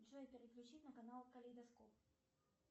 джой переключить на канал калейдоскоп